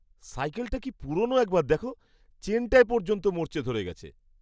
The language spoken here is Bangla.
সাইকেলটা কি পুরনো একবার দেখো, চেনটায় পর্যন্ত মরচে ধরে গেছে।